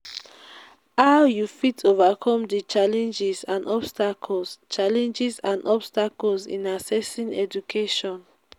how you fit overcome di challenges and obstacles challenges and obstacles in accessing education?